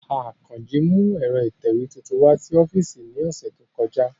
Akanji mu ẹ̀ro itẹwe tuntun wa si ọfiisi ni ọsẹ to kọja.